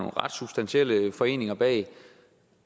ret substantielle foreninger bag